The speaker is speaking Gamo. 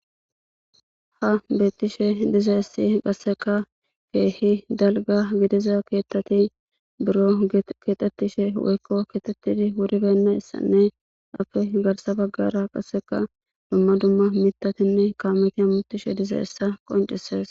Ha beetishe dizayssi qassekka keehi dalgga gidiza keeththati buro keexetishe woykko kexxetidi wuranna haniyayssine appe garssa bagara qassekka dumma dumma miththati kaaameti hamutishe dizaysi dizayssa qonccisees.